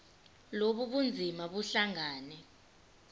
lobu bunzima buhlangane